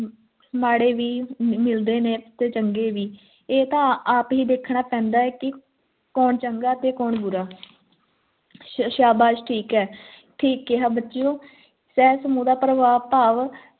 ਮਾੜੇ ਵੀ ਮਿਲਦੇ ਨੇ ਤੇ ਚੰਗੇ ਵੀ ਇਹ ਤਾਂ ਆਪ ਹੀ ਦੇਖਣਾ ਪੈਂਦਾ ਹੈ ਕੀ ਕੌਣ ਚੰਗਾ ਤੇ ਕੌਣ ਬੁਰਾ ਹੈ ਸ਼ਾਸ਼ਾਬਾਸ਼ ਠੀਕ ਹੈ ਠੀਕ ਕਿਹਾ ਬੱਚਿਓ ਸ਼ਹਰ ਸਮੂਹ ਦਾ ਪ੍ਰਪ੍ਰਭਾਵ